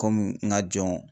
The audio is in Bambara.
Komi n ka jɔn.